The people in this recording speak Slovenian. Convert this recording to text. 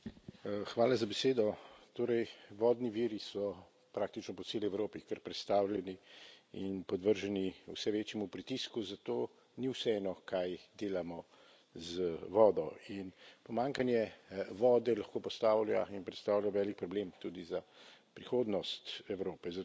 Gospa predsednica! Torej, vodni viri so praktično po celi Evropi kar prestavljeni in podvrženi vse večjemu pritisku, zato ni vseeno, kaj delamo z vodo, in pomanjkanje vode lahko postavlja in predstavlja velik problem tudi za prihodnost Evrope.